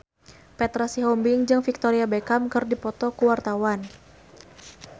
Petra Sihombing jeung Victoria Beckham keur dipoto ku wartawan